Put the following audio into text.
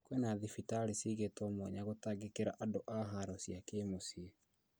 Kwĩna thibitari ciigĩtwo mwanya gũtangĩkĩra andũ a haro cia kĩmũciĩ